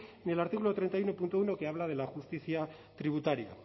ni el artículo treinta y uno punto uno que habla de la justicia tributaria